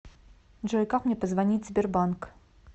джой как мне позвонить сбер банк